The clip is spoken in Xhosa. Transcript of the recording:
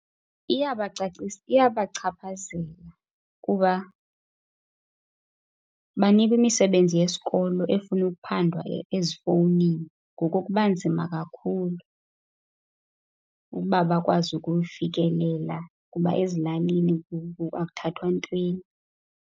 iyabachaphazela kuba banikwa imisebenzi yesikolo efuna ukuphandwa ezifowunini, ngoku kuba nzima kakhulu ukuba bakwazi ukuyifikela kuba ezilalini akuthathwa ntweni.